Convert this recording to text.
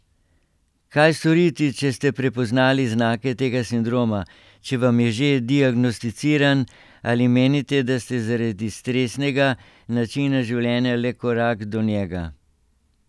Kaj storiti, če ste prepoznali znake tega sindroma, če vam je že diagnosticiran ali menite, da ste zaradi stresnega načina življenja le korak do njega?